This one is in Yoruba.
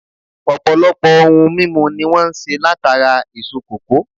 Ọ̀pọ̀lọpọ̀ ohun mímu ni wọ́n ń se látara èso kòkó